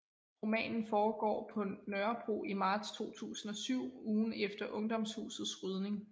Romanen foregår på Nørrebro i marts 2007 ugen efter Ungdomshusets rydning